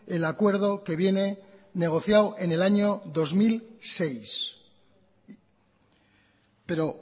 el acuerdo que viene negociado en el año dos mil seis pero